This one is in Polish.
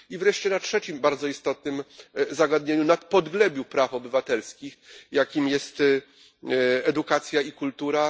I wreszcie na trzecim bardzo istotnym zagadnieniu na podglebiu praw obywatelskich, jakim jest edukacja i kultura.